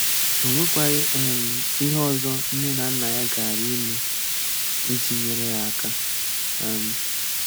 O nwekwaghị um ihe ọzọ nne na nna ya gaara eme iji nyere ya aka. um